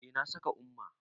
Eh, na saka umma